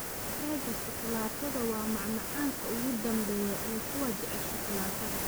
Keega shukulaatada waa macmacaanka ugu dambeeya ee kuwa jecel shukulaatada.